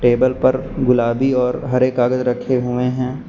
Table पर गुलाबी और हरे कागज रखे हुए हैं।